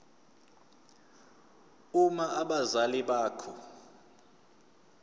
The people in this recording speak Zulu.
uma abazali bakho